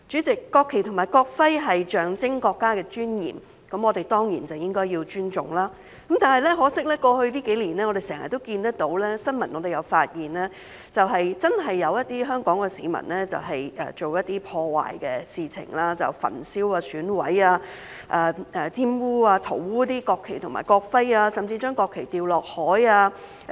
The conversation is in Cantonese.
國旗及國徽象徵國家尊嚴，我們當然應該尊重，但很可惜在過去幾年，我們經常看到，並在新聞報道中發現，確實有些香港市民做了一些破壞的事情，例如焚燒、損毀、玷污及塗污國旗及國徽，甚至把國旗扔下海。